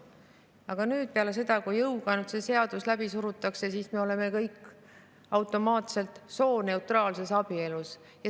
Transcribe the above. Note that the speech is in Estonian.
Aga nüüd, peale seda, kui see seadus jõuga läbi surutakse, oleme me kõik automaatselt sooneutraalses abielus.